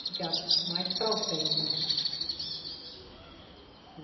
Fica mais para o centro.